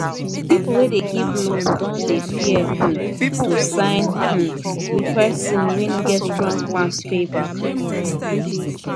people wey dey give loan don dey fear um to sign um with person wey no get strong plan to pay back